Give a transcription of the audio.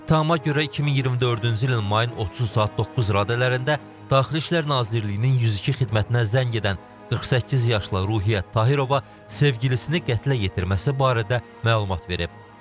İttihama görə 2024-cü ilin mayın 30-u saat 9 radələrində Daxili İşlər Nazirliyinin 102 xidmətinə zəng edən 48 yaşlı Ruhiyyət Tahirova sevgilisini qətlə yetirməsi barədə məlumat verib.